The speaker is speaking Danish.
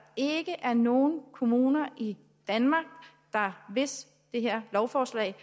ikke er nogen kommuner i danmark der hvis det her lovforslag